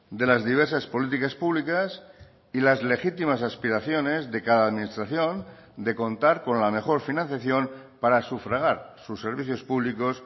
de las diversas políticas públicas y las legítimas aspiraciones de cada administración de contar con la mejor financiación para sufragar sus servicios públicos